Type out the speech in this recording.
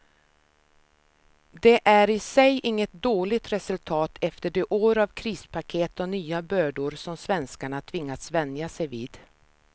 Det är i sig inget dåligt resultat efter de år av krispaket och nya bördor som svenskarna tvingats vänja sig vid.